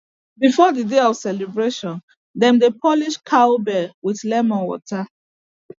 before the day for celebration dem dey polish cow bell with lemon water